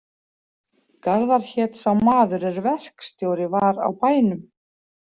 Garðar hét sá maður er verkstjóri var á bænum.